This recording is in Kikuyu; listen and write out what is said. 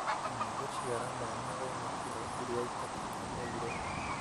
kana gũciara mwana wĩna kiro iria itakinyanĩire,